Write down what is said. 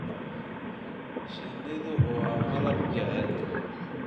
Shinnidu waa malab jecel.